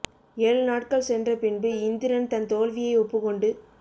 ஏழு நாட்கள் சென்ற பின்பு இந்திரன் தன் தோல்வியை ஒப்புக் கொண்டு